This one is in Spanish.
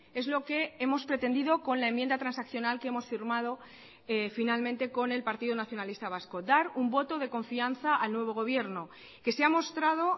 es lo que hemos pretendido con la enmienda transaccional que hemos firmado finalmente con el partido nacionalista vasco dar un voto de confianza al nuevo gobierno que se ha mostrado